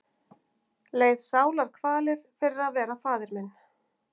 Leið sálarkvalir fyrir að vera faðir minn.